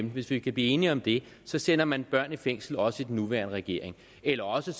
hvis vi kan blive enige om det sender man børn i fængsel også under den nuværende regering eller også